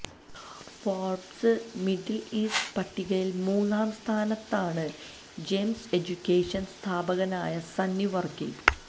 Forbes Middle East പട്ടികയില് മൂന്നാം സ്ഥാനത്താണ് ജെംസ് എജ്യുക്കേഷന് സ്ഥാപകനായ സണ്ണി വര്ക്കി